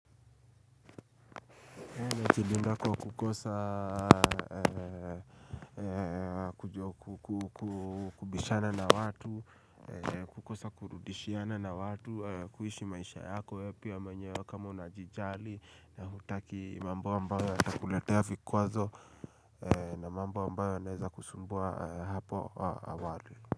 Najilindako kukosa kubishana na watu, kukosa kurudishiana na watu, kuishi maisha yako wee pia mwenyewe kama unajijali na hutaki mambo ambayo yatakuletea vikwazo na mambo ambayo yanaeza kusumbua hapo awali.